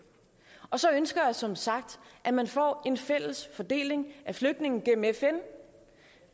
og så ønsker jeg som sagt at man får en fælles fordeling af flygtninge gennem fn